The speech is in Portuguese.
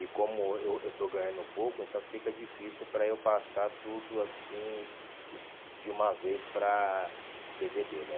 E como eu eu estou ganhando um pouco, então fica difícil para eu passar tudo assim de de uma vez para dê vê dê, né?